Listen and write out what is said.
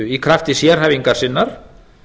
í krafti sérhæfingar sinnar